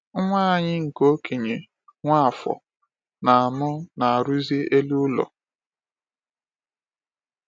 Nwa anyị nke okenye, Nwafor, na mụ na-arụzi elu ụlọ.